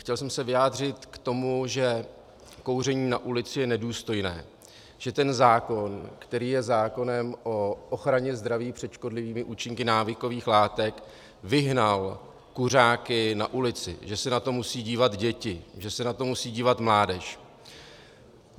Chtěl jsem se vyjádřit k tomu, že kouření na ulici je nedůstojné, že ten zákon, který je zákonem o ochraně zdraví před škodlivými účinky návykových látek, vyhnal kuřáky na ulici, že se na to musí dívat děti, že se na to musí dívat mládež.